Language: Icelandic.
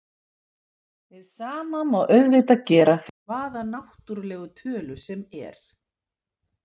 Hið sama má auðvitað gera fyrir hvaða náttúrlega tölu sem er.